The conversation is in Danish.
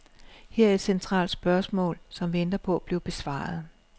Her er et centralt spørgsmål, som venter på at blive besvaret.